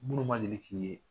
Minnu ma deli k'i ye